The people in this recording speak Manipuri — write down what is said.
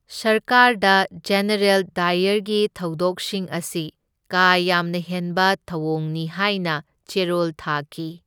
ꯁꯔꯀꯥꯔꯗ ꯖꯦꯅꯔꯦꯜ ꯗꯥꯏꯌꯔꯒꯤ ꯊꯧꯗꯣꯛꯁꯤꯡ ꯑꯁꯤ ꯀꯥ ꯌꯥꯝꯅ ꯍꯦꯟꯕ ꯊꯧꯑꯣꯡꯅꯤ ꯍꯥꯏꯅ ꯆꯦꯔꯣꯜ ꯊꯥꯈꯤ꯫